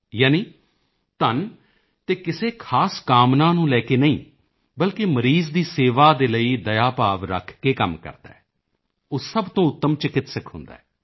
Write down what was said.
ਯਾਨੀ ਧਨ ਅਤੇ ਕਿਸੇ ਖ਼ਾਸ ਕਾਮਨਾ ਨੂੰ ਲੈ ਕੇ ਨਹੀਂ ਬਲਕਿ ਮਰੀਜ਼ ਦੀ ਸੇਵਾ ਦੇ ਲਈ ਦਇਆ ਭਾਵ ਰੱਖ ਕੇ ਕੰਮ ਕਰਦਾ ਹੈ ਉਹ ਸਭ ਤੋਂ ਉੱਤਮ ਚਿਕਿੱਤਸਕ ਹੁੰਦਾ ਹੈ